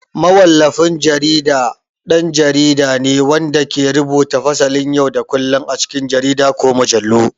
Mawallafin jarida ɗan jarida ne wanda ke rubuta fasalin yau da kullun a cikin jarida ko mujallu.